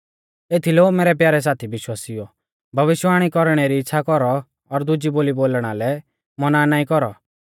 एथीलै ओ मैरै प्यारै साथी विश्वासिउओ भविष्यवाणी कौरणै री इच़्छ़ा कौरौ और दुजी बोली बोलणा लै मौना नाईं कौरौ